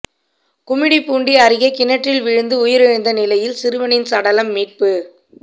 குமிடிப்பூண்டி அருகே கிணற்றில் விழுந்து உயிரிழந்த நிலையில் சிறுவனின் சடலம் மீட்பு